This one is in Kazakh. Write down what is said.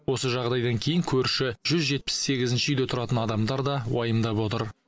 осы жағдайдан кейін көрші жүз жетпіс сегізінші үйде тұратын адамдар да уайымдап отыр